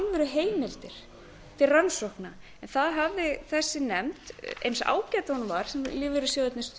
alvöruheimildir til rannsókna en það hafði þessi nefnd eins ágæt og hún var sem